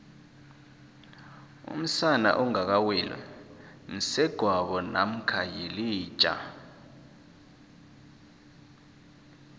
umsana ongaka weli msegwabo mamkha yilija